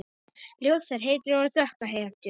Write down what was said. Ljósar hetjur og dökkar hetjur.